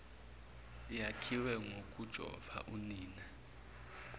yakhiwe ngokujova unina